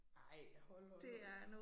Ej hold nu op